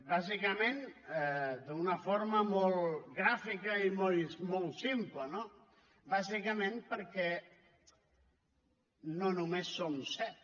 d’una forma molt gràfica i molt simple no bàsicament perquè no només som set